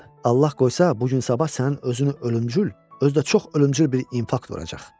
Allah qoysa bu gün sabah sənin özünə ölümcül, özü də çox ölümcül bir infarkt vuracaq.